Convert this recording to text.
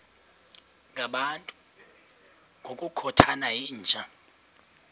ngabantu ngokukhothana yinja